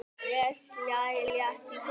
Ég slæ létt í kistuna.